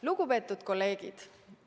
Lugupeetud kolleegid!